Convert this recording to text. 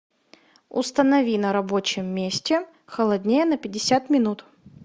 установи на рабочем месте холоднее на пятьдесят минут